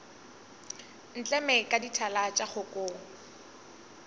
ntleme ka dithala tša kgokong